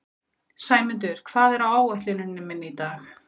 Sæmundur, hvað er á áætluninni minni í dag?